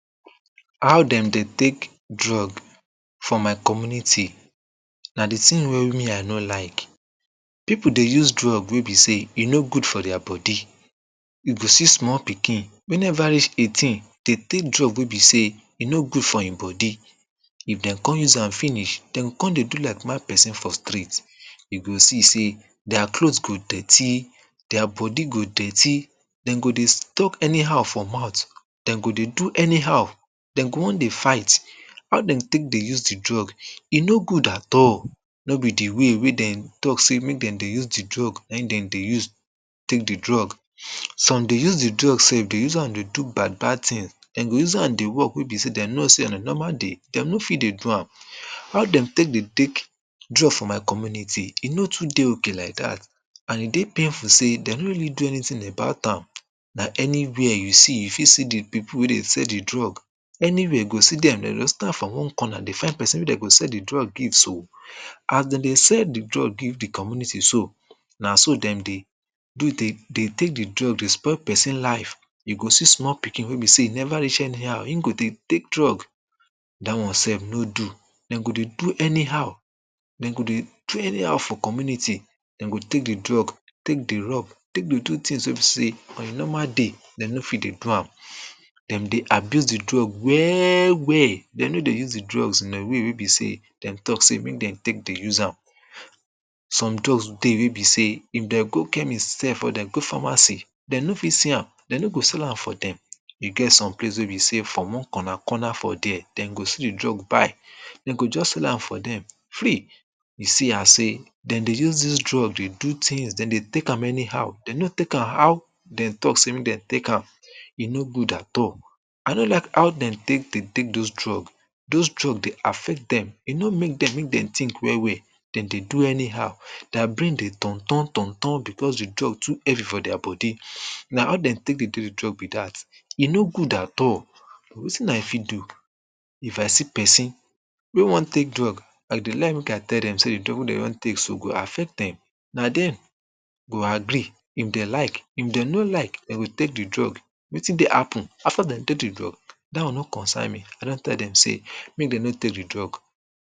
How dem dey take drug from my community na de tin wey me I no like people dey use use drug wey be sey e no good for dier body you go see small pikin e never reach eighteen dey take drugs wey be sey e no good for him body if dem come use am finish dem go come dey do like mad person for street you go see sey dier clothes go dirty dier body go dirty dem go dey talk anyhow for mouth dem go dey do anyhow dem go want dey fight how dem take dey use de drugs e no good at all no be de way wey dem talk say make dem dey use de drugs wen dem dey take de drugs some dey use de drug sef, dem use am dey do bad bad tins dem go dey use am dey work, wey be sey dem know sey on a normal day dem no fit dey do am how dem take dey take drug for my community, e no too dey okay like dat. and e dey painful sey dem no really do anytin about am dat anywhere you see, you fit see de people wey dey sell de drug anywhere you go see dem, dem go stand for one corner dey find person wey dem go sell de drug give so. as dem dey sell de drug give de community so na so dem dey dey dey take de drug dey spoil person life you go see small pikin wey be sey e never reach anyhow him go dey take drug dat one sef no do dem go dey do anyhow dem go dey do anyhow for community dem go take de drug take dey rock take de two tins on a normal day dem no fit dey do am dem dey abuse de drug well well dem no dey use de drugs in a way wey be sey dem talk say make dem take dey use am some drugs dey wey be sey if dem go chemist sef or dem go pharmacy dem no fit see am dem no go sell am for dem e get some place wey be sey from one corner corner for dia dem go see de drug buy dem go just sell am for dem free you see am sey dem dey use dis drugs dey do tins, dem dey take am anyhow, dem no take am how dem talk say make dem take am e no good at all I no like how dem take dey take those drugs those drugs dey affect dem, e no make dem make dem tink well well dem dey do anyhow dier brain dey turn turn turn, because de drug too heavy for dier body na how dem take dey do de drug be dat e no good at all but wetin I fit do? If I see person wy want take drug I dey like make I tell dem say, de drug wey dey want take so, go affect dem na dem go agree if dey like if dem no like dey will take de drug wetin dey happen after dem take de drug dat one no concern me, I don tell dem say, make dem no take de drug.